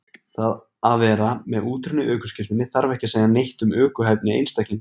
Það að vera með útrunnið ökuskírteini þarf ekki að segja neitt um ökuhæfni einstaklingsins.